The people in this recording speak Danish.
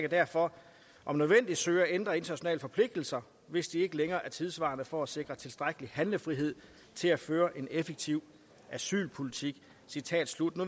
derfor om nødvendigt søge at ændre internationale forpligtelser hvis de ikke længere er tidssvarende for at sikre tilstrækkelig handlefrihed til at føre en effektiv asylpolitik